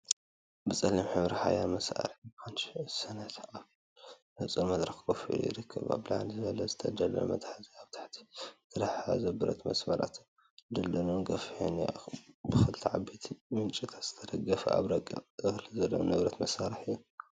ብጸሊም ሕብሪ ሓያል መሳርሒ ፓንች ሰነድ ኣብ ንጹር መድረኽ ኮፍ ኢሉ ይርከብ። ኣብ ላዕሊ ዘሎ ዝተደልደለ መትሓዚን ኣብ ታሕቲ ዝተተሓሓዘ ብረት መስመራትን ድልዱልን ገፊሕን እዩ። ብኽልተ ዓበይቲ ምንጪታት ዝተደገፈን ካብ ረቂቕ እኽሊ ዘለዎ ንብረት መሳርሒ እዩ።